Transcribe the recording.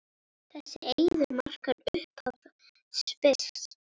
Þessi eiður markar upphaf Sviss.